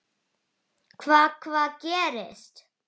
Lóa: Hvað, hvað gerðist?